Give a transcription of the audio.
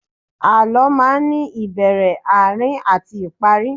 Àlọ́ máa ní ìbẹ̀rẹ̀, Àárín àti ìparí